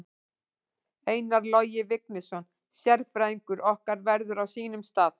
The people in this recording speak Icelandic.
Einar Logi Vignisson sérfræðingur okkar verður á sínum stað.